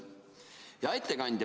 Hea ettekandja!